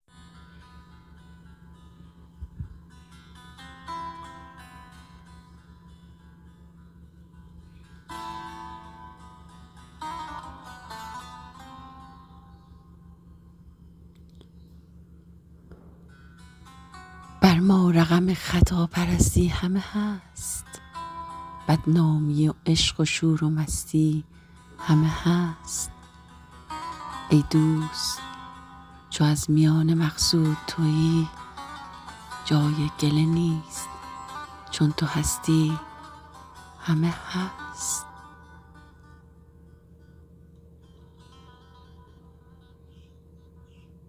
بر ما رقم خطا پرستی همه هست بدنامی و عشق و شور و مستی همه هست ای دوست چو از میانه مقصود توی جای گله نیست چون تو هستی همه هست